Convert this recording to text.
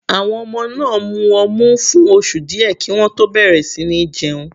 Àwọn ọmọ máa mu ọmu fún oṣù díẹ̀ kí wọ́n tó bẹ̀rẹ̀ sí ní jẹun.